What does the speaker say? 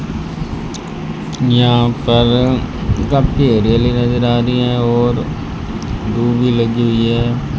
यहां पर काफी हरियाली नजर आ रही है और दूब भी लगी हुई है।